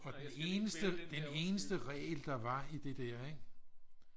og den eneste den eneste regel der var i det der ik